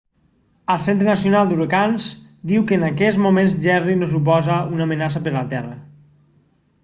el centre nacional d'huracans nhc diu que en aquests moments jerry no suposa una amenaça per a la terra